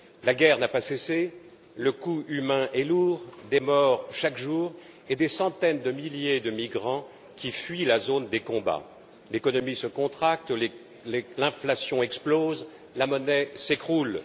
La guerre n'a pas cessé, le coût humain est lourd des morts chaque jour et des centaines de milliers de migrants qui fuient la zone des combats. L'économie se contracte, l'inflation explose, la monnaie s'effrondre.